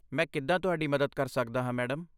ਮੈਂ ਕਿੱਦਾਂ ਤੁਹਾਡੀ ਮਦਦ ਕਰ ਸਕਦਾ ਹਾਂ, ਮੈਡਮ?